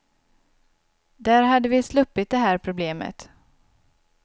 Där hade vi sluppit det här problemet.